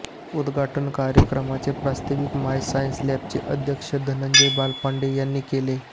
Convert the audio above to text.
उद्घाटन कार्यक्रमाचे प्रास्ताविक माय सायन्स लॅबचे अध्यक्ष धनंजय बालपांडे यांनी केले